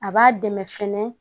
A b'a dɛmɛ fɛnɛ